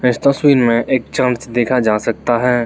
इस तस्वीर में एक चम्च देखा जा सकता है।